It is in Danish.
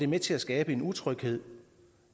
med til at skabe en utryghed